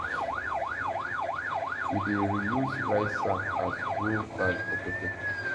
we dey reuse rice sack as grow bag for pepper